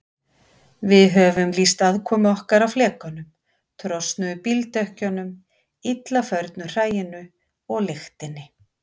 Við höfum lýst aðkomu okkar að flekanum, trosnuðum bíldekkjunum, illa förnu hræinu og lyktinni.